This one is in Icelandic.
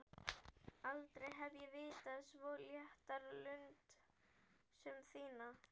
Aldrei hef ég vitað svo létta lund sem þína.